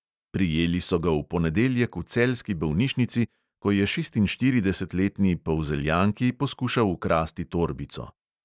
Prijeli so ga v ponedeljek v celjski bolnišnici, ko je šestinštiridesetletni polzeljanki poskušal ukrasti torbico.